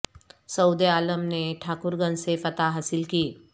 سعود عالم نے ٹھاکر گنج سے فتح حاصل کی